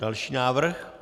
Další návrh?